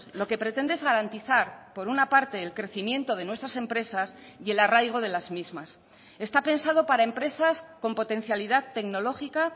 lo que pretende es garantizar por una parte el crecimiento de nuestras empresas y el arraigo de las mismas está pensado para empresas con potencialidad tecnológica